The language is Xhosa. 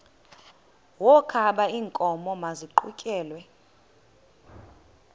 wokaba iinkomo maziqhutyelwe